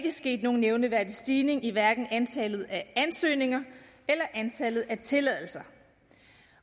er sket nogen nævneværdig stigning i antallet af ansøgninger eller antallet af tilladelser